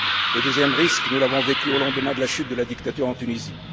Le deuxième risque, nous l'avons vécu au lendemain de la chute de la dictature en Tunisie.